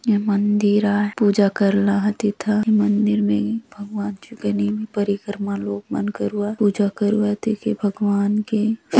ये मंदिर आय पूजा करला आत एथा मंदिर ने भगबान छु कर परिक्रमा लोग मन करुवात पूजा करूआत एके भगवान के --